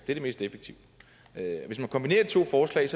er det mest effektive hvis man kombinerer de to forslag